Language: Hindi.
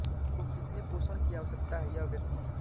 को कितने पोषण की आवश्यकता है यह व्यक्ति की